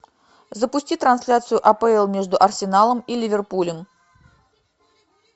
запусти трансляцию апл между арсеналом и ливерпулем